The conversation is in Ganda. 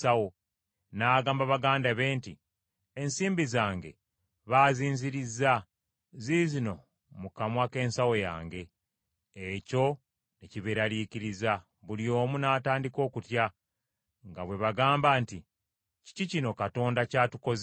n’agamba baganda be nti, “Ensimbi zange baazinzirizza, ziizino mu kamwa k’ensawo yange!” Ekyo ne kibeeralikiriza, buli omu n’atandika okutya, nga bwe bagamba nti, “Kiki kino Katonda ky’atukoze!”